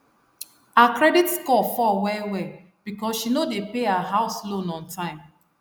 her credit score fall wellwell because she no dey pay her house loan on time